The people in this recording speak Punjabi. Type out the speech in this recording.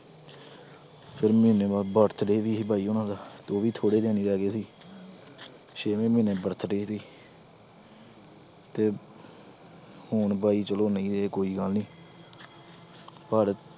ਫਿਰ ਮਹੀਨੇ ਬਾਅਦ birthday ਵੀ ਸੀ ਬਾਈ ਹੋਣਾਂ ਦਾ, ਤੇ ਉਹ ਵੀ ਥੋੜ੍ਹੇ ਦਿਨ ਹੀ ਰਹਿ ਗਏ ਸੀ ਛੇਵੇਂ ਮਹੀਨੇ birthday ਸੀ ਤੇ ਹੁਣ ਬਾਈ ਚਲੋ ਨਹੀਂ ਰਹੇ ਕੋਈ ਗੱਲ ਨੀ ਪਰ